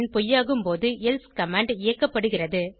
பொய்யாகும் போதுelse கமாண்ட் இயக்கப்படுகிறது